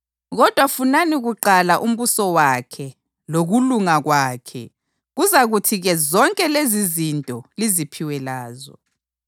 Kodwa funani kuqala umbuso wakhe lokulunga kwakhe, kuzakuthi-ke zonke lezizinto liziphiwe lazo.